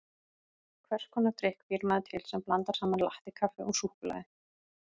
Hvers konar drykk býr maður til sem blandar saman latté-kaffi og súkkulaði?